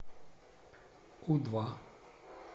у два